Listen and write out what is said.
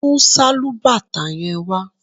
Mú sálúbàtà yẹn wá